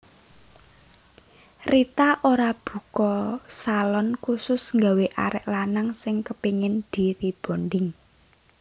Rita Ora buka salon khusus gawe arek lanang sing kepingin di rebonding